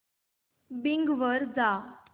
Bing वर जा